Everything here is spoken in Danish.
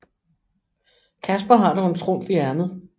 Casper har dog en trumf i ærmet